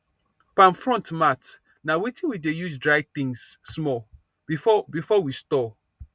palm frond mat na wetin we dey use dry things small before before we store